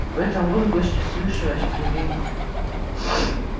в этом возгласе слышалось удивление